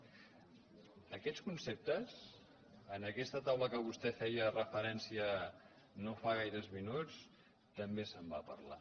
d’aquests conceptes en aquesta taula a què vostè feia referència no fa gaires minuts també se’n va parlar